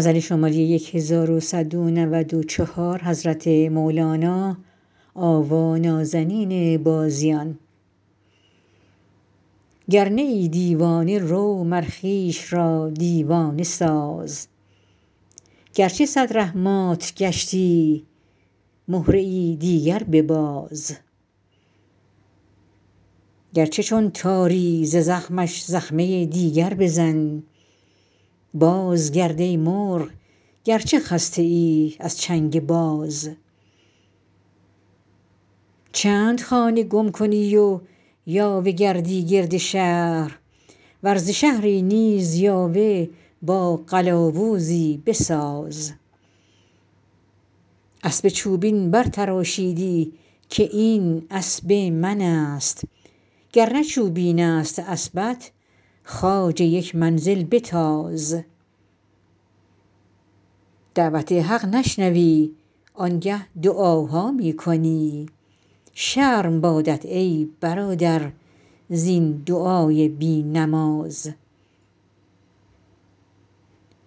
گر نه ای دیوانه رو مر خویش را دیوانه ساز گرچه صد ره مات گشتی مهره دیگر بباز گرچه چون تاری ز زخمش زخمه دیگر بزن بازگرد ای مرغ گرچه خسته ای از چنگ باز چند خانه گم کنی و یاوه گردی گرد شهر ور ز شهری نیز یاوه با قلاوزی بساز اسب چوبین برتراشیدی که این اسب منست گر نه چوبینست اسبت خواجه یک منزل بتاز دعوت حق نشنوی آنگه دعاها می کنی شرم بادت ای برادر زین دعای بی نماز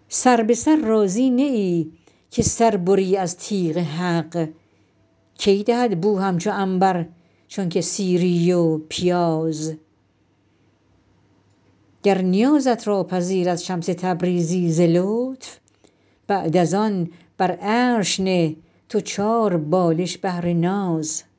سر به سر راضی نه ای که سر بری از تیغ حق کی دهد بو همچو عنبر چونک سیری و پیاز گر نیازت را پذیرد شمس تبریزی ز لطف بعد از آن بر عرش نه تو چاربالش بهر ناز